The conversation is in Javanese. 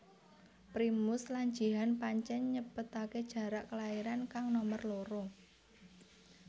Primus lan Jihan pancén nyepetaké jarak kelairan kang nomer loro